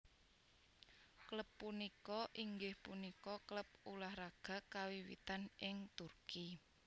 Klub punika inggih punika klub ulah raga kawiwitan ing Turki